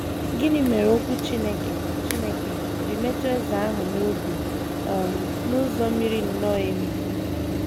Gịnị mere Okwu Chineke Chineke ji metụ eze ahụ n’obi um n’ụzọ miri nnọọ emi?